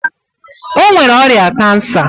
O nwere ọrịa kansa.